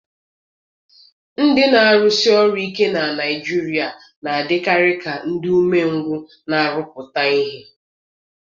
Ndị na-arụsi ọrụ ike na Naijiria a na-adịkarị ka ndị umengwụ na-arụpụta ihe.